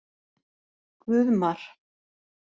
Guðmar